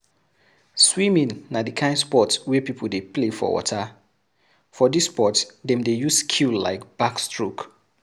Swimming na di kind sport wey pipo dey play for water, for this sport dem dey use skill like backstroke